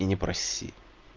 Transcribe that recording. и не проси